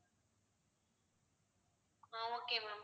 ah okay ma'am